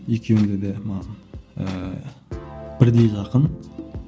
екеуіде де маған ыыы бірдей жақын